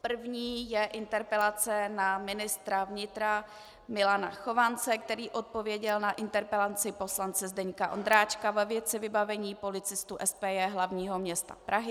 První je interpelace na ministra vnitra Milana Chovance, který odpověděl na interpelaci poslance Zdeňka Ondráčka ve věci vybavení policistů SPJ hlavního města Prahy.